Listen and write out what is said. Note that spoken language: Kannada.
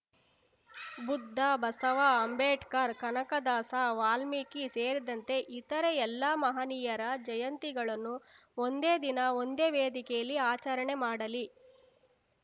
ಬುದ್ಧ ಬಸವ ಅಂಬೇಡ್ಕರ್‌ ಕನಕದಾಸ ವಾಲ್ಮೀಕಿ ಸೇರಿದಂತೆ ಇತರೆ ಎಲ್ಲಾ ಮಹನೀಯರ ಜಯಂತಿಗಳನ್ನು ಒಂದೇ ದಿನ ಒಂದೇ ವೇದಿಕೆಯಲ್ಲಿ ಆಚರಣೆ ಮಾಡಲಿ